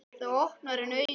Þá opnar hann augun.